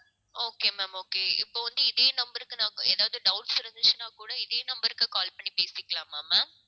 okay ma'am okay இப்ப வந்து இதே number க்கு நான் ஏதாவது doubts இருந்துச்சுன்னா கூட இதே number க்கு call பண்ணி பேசிக்கலாமா ma'am?